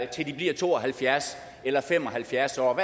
til de bliver to og halvfjerds eller fem og halvfjerds år